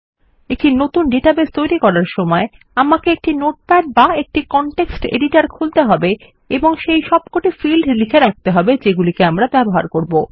একটি নতুন ডেটাবেস তৈরী করার সময় আমাকে একটি নোটপ্যাড বা একটি কনটেক্সট এডিটর খুলতে হবে এবং সেই সবকটি ফিল্ড লিখে রাখতে হবে যেগুলি আমরা ব্যবহার করব